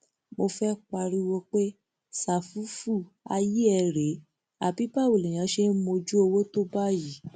mo fẹẹ pariwo pé ṣàfùfù ayé ẹ rèé àbí báwo lèèyàn ṣe ń mójú owó tó báyìí